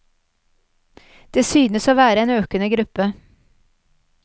Det synes å være en økende gruppe.